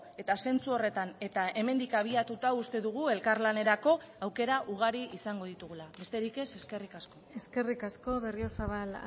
eta zentzu horretan eta hemendik abiatuta uste dugu elkarlanerako aukera ugari izango ditugula besterik ez eskerrik asko eskerrik asko berriozabal